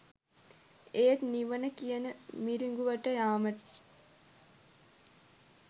ඒත් නිවන කියන මිරිඟුවට යාම